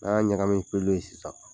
N'an y'a ɲagami ni pɛlu ye sisan